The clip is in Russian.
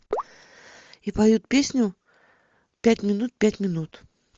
и поют песню пять минут пять минут